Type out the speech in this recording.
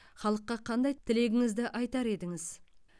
халыққа қандай тілегіңізді айтар едіңіз